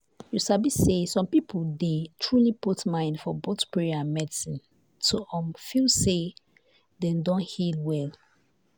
you sabi say some people dey truly put mind for both prayer and medicine to um feel say dem don heal well.